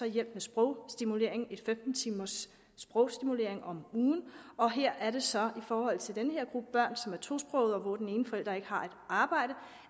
hjælp med sprogstimulering gennem femten timers sprogstimulering om ugen og her er det så i forhold til den her gruppe børn som er tosprogede og hvor den ene forælder ikke har arbejde